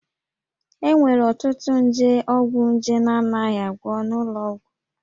E nwere ọtụtụ nje ọgwụnje na-anaghị agwọ n'ụlọ ọgwụ